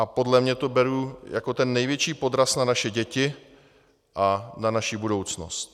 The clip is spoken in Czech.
A podle mě to beru jako ten největší podraz na naše děti a na naši budoucnost.